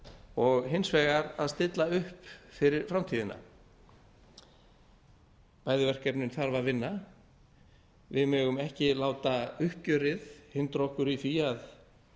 og hins vegar að stilla upp fyrir framtíðina bæði verkefnin þarf að vinna við megum ekki láta uppgjörið hindra okkur í því að